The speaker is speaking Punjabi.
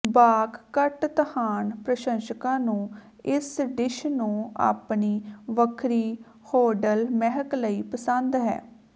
ਬਾਕ ਕਟ ਤਹਾਨ ਪ੍ਰਸ਼ੰਸਕਾਂ ਨੂੰ ਇਸ ਡਿਸ਼ ਨੂੰ ਆਪਣੀ ਵੱਖਰੀ ਹੌਰਡਲ ਮਹਿਕ ਲਈ ਪਸੰਦ ਹੈ